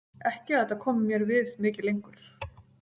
Ekki að þetta komi mér við mikið lengur.